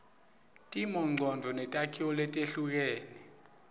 timongcondvo netakhiwo letehlukene